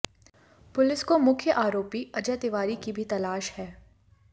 police को मुख्य आरोपी अजय तिवारी की भी तलाश है